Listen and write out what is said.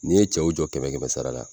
N'i ye cɛw jɔ kɛmɛ kɛmɛ sara la,